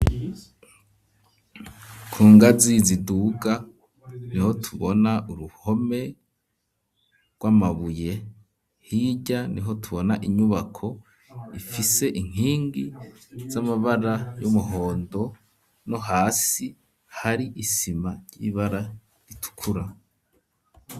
Ku ngazi ziduga niho tubona uruhome rw'amabuye, hirya niho tubona inyubako ifise inkingi z'amabara y'umuhondo, no hasi hari isima ry'ibara ritukura.